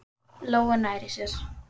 Lóu nærri sér.